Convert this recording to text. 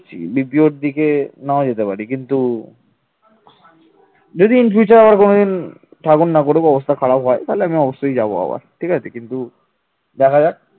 যদি in future আবার কোন দিন ঠাকুর না করে ব্যবস্থা খারাপ হয় তাহলে আমি অবশ্যই যাবো আবার ঠিক আছে কিন্তু দেখা যাক